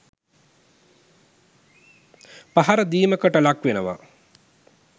පහර දීමකට ලක්වෙනවා.